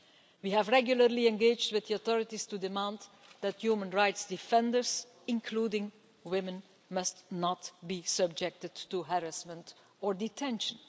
We have regularly engaged with the authorities to demand that human rights defenders, including women, must not be subjected to harassment or detention.